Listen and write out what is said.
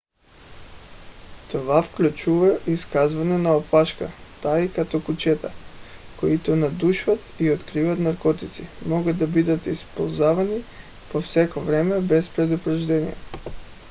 това включва изчакване на опашка тъй като кучетата които надушват и откриват наркотици могат да бъдат използвани по всяко време без предупреждение